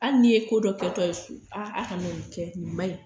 Hali n'i ye ko dɔ kɛtɔ ye so, a aw kana ni kɛ, ni maɲi